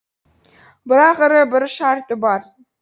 бірақ ірі бір шарты бар